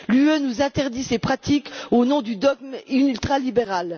L'Union nous interdit ses pratiques au nom du dogme ultralibéral.